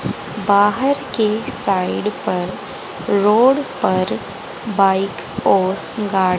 बाहर के साइड पर रोड बाइक और गाड़ी--